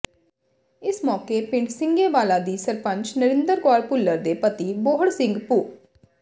ਇਸ ਮੌਕੇ ਪਿੰਡ ਸਿੰਘੇ ਵਾਲਾ ਦੀ ਸਰਪੰਚ ਨਰਿੰਦਰ ਕੌਰ ਭੁੱਲਰ ਦੇ ਪਤੀ ਬੋਹੜ ਸਿੰਘ ਭੁੱ